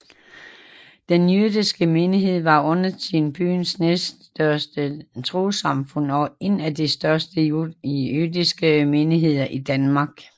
Den jødiske menighed var undertiden byens næststørste trossamfund og en af de største jødiske menigheder i Danmark